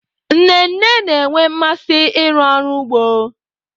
Nne nne na-enwe mmasị ịrụ ọrụ n'ugbo.